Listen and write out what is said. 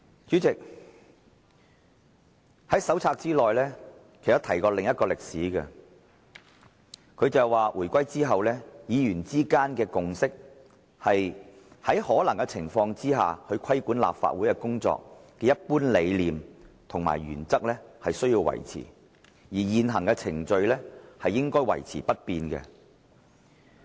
主席，手冊內也提及另一宗歷史，當中所述："回歸後，議員之間的共識是，在可能的情況下，規管立法會工作的一般理念及原則須維持，而現行程序應維持不變。